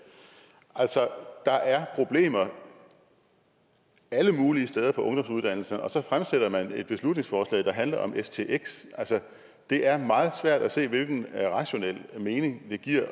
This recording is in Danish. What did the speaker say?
altså der er problemer alle mulige steder på ungdomsuddannelserne og så fremsætter man et beslutningsforslag der handler om stx det er meget svært at se hvilken rationel mening det giver